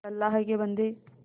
अल्लाह के बन्दे